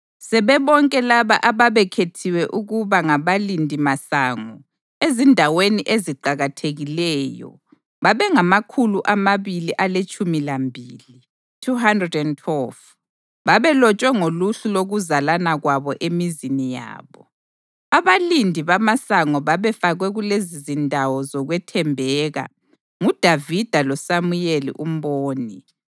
Sebebonke labo ababekhethiwe ukuba ngabalindimasango ezindaweni eziqakathekileyo babengamakhulu amabili aletshumi lambili (212). Babelotshwe ngoluhlu lokuzalana kwabo emizini yabo. Abalindi bamasango babefakwe kulezizindawo zokwethembeka nguDavida loSamuyeli umboni.